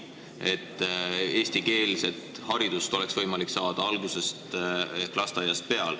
Hea on, kui eestikeelset haridust on võimalik saada algusest peale ehk juba lasteaias.